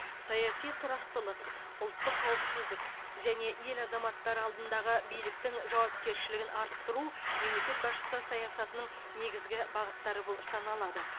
саяси тұрақтылық ұлттық қауіпсіздік және ел азаматтары алдындағы биліктің жауапкершілігін арттыру мемлекет басшысы саясатының негізгі бағыттары болып саналады